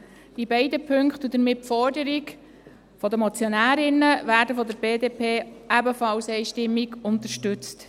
Die beiden Punkte und damit die Forderung der Motionärinnen werden von der BDP ebenfalls einstimmig unterstützt.